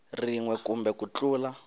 rin we kumbe ku tlula